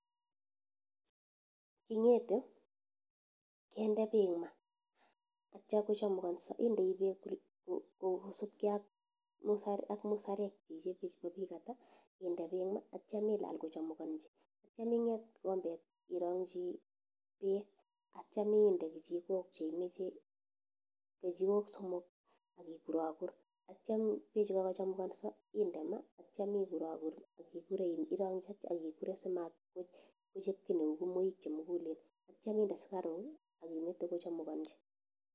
King'ete kende pek ma atya kochumakanso indei bek kou musukyat ak musarek akinde pek ma atya ilal kochamukanchi atyam ing'et kikombet irangchi bek atyam inde kichikok cheimeche , kichiko somok akikurakur atyam pechu kakochumakanso inde ma atyam ikurakur simachop ki neuu kimaoik chemukulen atya inde sukaruk amite kuchumkanchi.